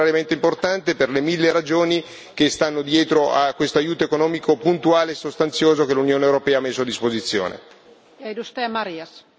Quindi credo che il voto di oggi sia straordinariamente importante per le mille ragioni che stanno dietro a questo aiuto economico puntuale e sostanzioso che l'Unione europea ha messo a disposizione.